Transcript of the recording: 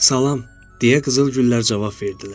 Salam, deyə qızıl güllər cavab verdilər.